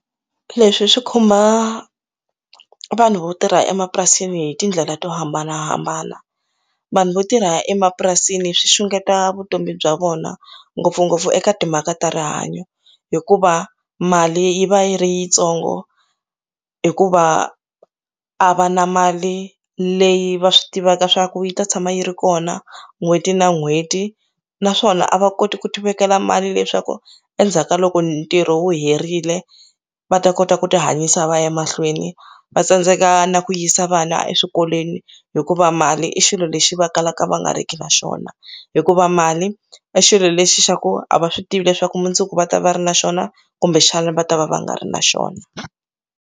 Leswi swi khumba vanhu vo tirha emapurasini hi tindlela to hambanahambana vanhu vo tirha emapurasini swi xungeta vutomi bya vona ngopfungopfu eka timhaka ta rihanyo hikuva mali yi va yi ri yitsongo hikuva a va na mali leyi va swi tivaka swa ku yi ta tshama yi ri kona n'hweti na n'hweti naswona a va koti ku ti vekela mali leswaku endzhaku ka loko ntirho wu herile va ta kota ku ti hanyisa va ya mahlweni va tsandzeka na ku yisa vana eswikolweni hikuva mali i xilo lexi va kalaka va nga riki na xona hikuva mali i xilo lexi xa ku a va swi tivi leswaku mundzuku va ta va ri na xona kumbexana va ta va va nga ri na xona.